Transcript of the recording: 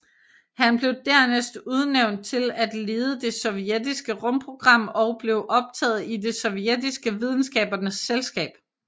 Han blev dernæst udnævnt til at lede det sovjetiske rumprogram og blev optaget i det sovjetiske videnskabernes selskab